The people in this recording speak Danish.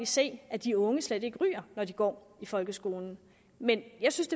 se at de unge slet ikke ryger når de går i folkeskolen men jeg synes